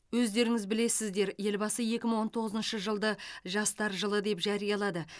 өздеріңіз білесіздер елбасы екі мың он тоғызыншы жылды жастар жылы деп жариялады